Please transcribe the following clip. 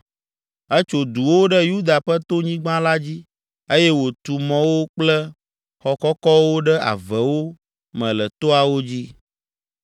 Etso duwo ɖe Yuda ƒe tonyigba la dzi eye wòtu mɔwo kple xɔ kɔkɔwo ɖe avewo me le toawo dzi.